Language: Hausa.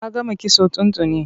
A gama kitson tun tuni.